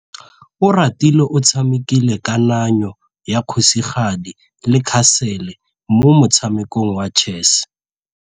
Oratile o tshamekile kananyô ya kgosigadi le khasêlê mo motshamekong wa chess.